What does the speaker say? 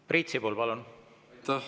Priit Sibul, palun!